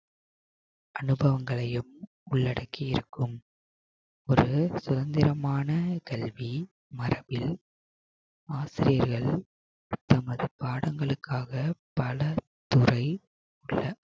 அனுபவங்களையும் உள்ளடக்கி இருக்கும் ஒரு சுதந்திரமான கல்வி மடத்தில் ஆசிரியர்கள் தங்கள் பாடங்களுக்காக பல துறை